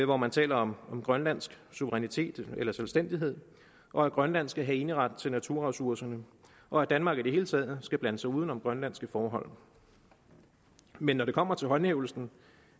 hvor man taler om om grønlandsk suverænitet eller selvstændighed og at grønland skal have eneret til naturressourcerne og at danmark i det hele taget skal blande sig uden om grønlandske forhold men når det kommer til håndhævelsen